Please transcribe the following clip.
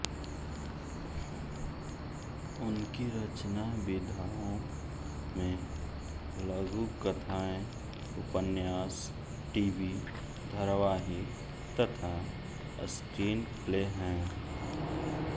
उनकी रचनाविधाओं में लघुकथाएँ उपन्यास टीवी धारावाहिक तथा स्क्रीनप्ले हैं